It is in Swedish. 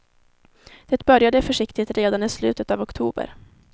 Det började försiktigt redan i slutet av oktober.